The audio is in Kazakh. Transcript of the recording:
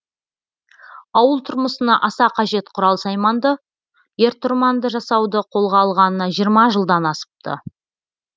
ауыл тұрмысына аса қажет құрал сайманды ер тұрманды жасауды қолға алғанына жиырма жылдан асыпты